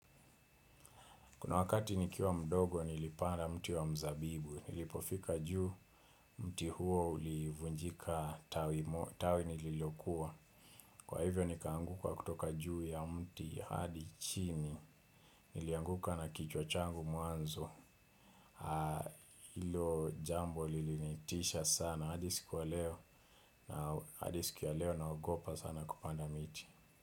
Kuna wakati nikiwa mdogo nilipanda mti wa mzabibu, nilipofika juu mti huo ulivunjika tawi nililokuwa. Kwa hivyo nikaanguka kutoka juu ya mti hadi chini, nilianguka na kichwa changu mwanzo, ilo jambo lilinitisha sana, hadi siku ya leo naogopa sana kupanda miti.